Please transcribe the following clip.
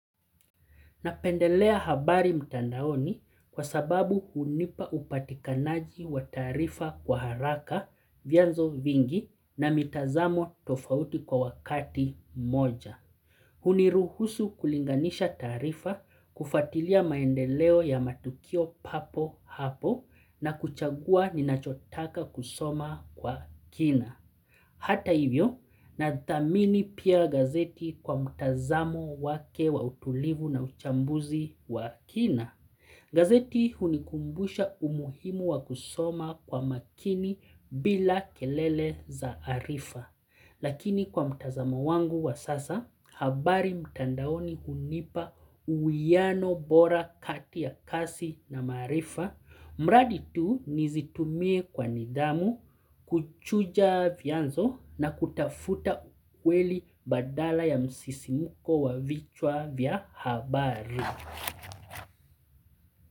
Napendelea habari mtandaoni kwa sababu hunipa upatikanaji wa taarifa kwa haraka, vianzo vingi na mitazamo tofauti kwa wakati moja. Huniruhusu kulinganisha taarifa kufuatilia maendeleo ya matukio papo hapo na kuchagua ninachotaka kusoma kwa kina. Hata hivyo, nadhamini pia gazeti kwa mtazamo wake wa utulivu na uchambuzi wa kina. Gazeti hunikumbusha umuhimu wa kusoma kwa makini bila kelele za arifa. Lakini kwa mtazama wangu wa sasa, habari mtandaoni hunipa uiyano bora kati ya kasi na maarifa. Mradi tu, nizitumie kwa nidhamu, kuchuja vianzo na kutafuta ukweli badala ya msisimuko wa vichwa vya habari.